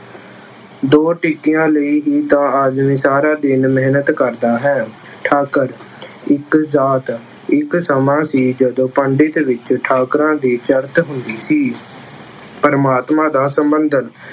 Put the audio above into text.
ਦੋ ਟਿੱਕੀਆਂ ਲਈ ਹੀ ਤਾਂ ਆਦਮੀ ਸਾਰਾ ਦਿਨ ਮਿਹਨਤ ਕਰਦਾ ਹੈ। ਠਾਕੁਰ- ਇੱਕ ਜਾਤ- ਇੱਕ ਸਮਾਂ ਸੀ ਜਦੋਂ ਪੰਡਿਤ ਵਿੱਚ ਠਾਕੁਰਾ ਦੀ ਚੜ੍ਹਤ ਹੁੰਦੀ ਸੀ। ਪ੍ਰਮਾਤਮਾ ਦਾ ਸੰਂਬਂੰਧਕ